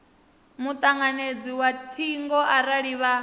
mutanganedzi wa thingo arali vha